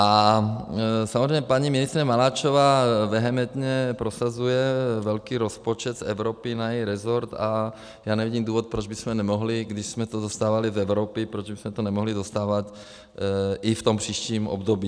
A samozřejmě paní ministryně Maláčová vehementně prosazuje velký rozpočet z Evropy na její rezort a já nevidím důvod, proč bychom nemohli, když jsme to dostávali z Evropy, proč bychom to nemohli dostávat i v tom příštím období.